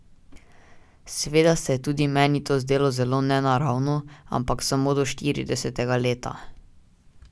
Seveda se je tudi meni to zdelo nenaravno, ampak samo do štiridesetega leta.